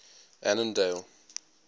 annandale